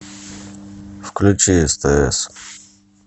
включи стс